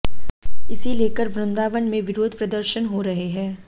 इसे लेकर वृंदावन में विरोध प्रदर्शन हो रहे हैं